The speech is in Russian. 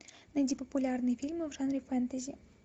найди популярные фильмы в жанре фэнтези